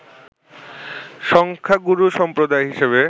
সংখ্যাগুরু সম্প্রদায় হিসেবে